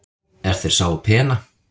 er þeir sáu pena